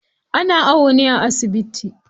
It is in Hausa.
Ana awo ne a asibiti.